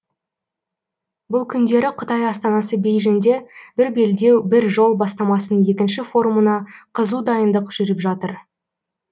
бұл күндері қытай астанасы бейжіңде бір белдеу бір жол бастамасының екінші форумына қызу дайындық жүріп жатыр